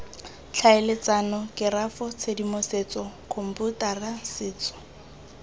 tlhaeletsano kerafo tshedimosetso khomputara setso